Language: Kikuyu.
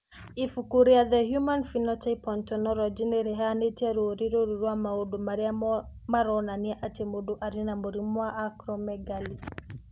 Ibuku rĩa The Human Phenotype Ontology nĩ rĩheanĩte rũũri rũrũ rwa maũndũ marĩa maronania atĩ mũndũ arĩ na mũrimũ wa Acromegaly.